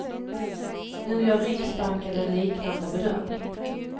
Nu gör riksbanken en liknande bedömning.